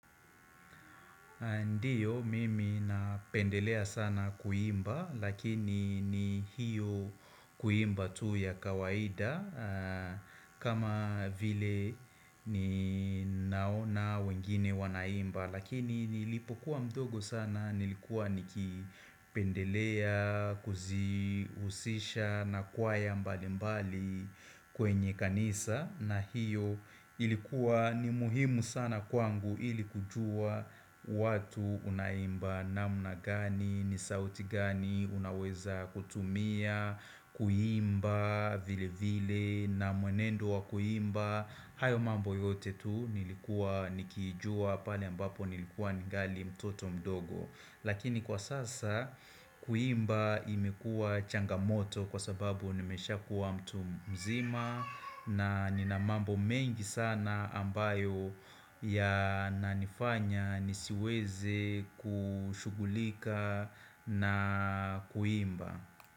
Ndio, mimi napendelea sana kuimba, lakini ni hiyo kuimba tu ya kawaida kama vile ninaona wengine wanaimba Lakini nilipokuwa mdogo sana, nilikuwa nikipendelea, kuziusisha na kwaya mbali mbali kwenye kanisa, na hiyo ilikuwa ni muhimu sana kwangu ili kujua watu unaimba namna gani ni sauti gani unaweza kutumia, kuimba vile vile na mwenendo wa kuimba, hayo mambo yote tu nilikuwa nikijua pale ambapo nilikuwa ningali mtoto mdogo Lakini kwa sasa kuimba imekuwa changamoto kwa sababu nimeshakuwa mtu mzima na nina mambo mengi sana ambayo yananifanya nisiweze kushughulika na kuimba.